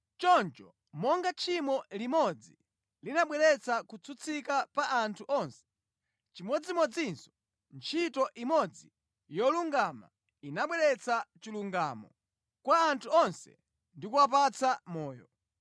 Choncho monga tchimo limodzi linabweretsa kutsutsika pa anthu onse, chimodzimodzinso ntchito imodzi yolungama inabweretsa chilungamo kwa anthu onse ndi kuwapatsa moyo.